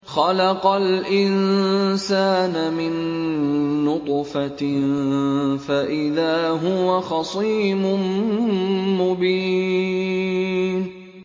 خَلَقَ الْإِنسَانَ مِن نُّطْفَةٍ فَإِذَا هُوَ خَصِيمٌ مُّبِينٌ